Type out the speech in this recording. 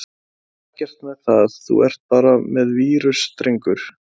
Það er ekkert með það, þú ert bara með vírus drengur!